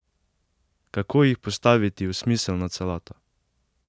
Kako jih postaviti v smiselno celoto?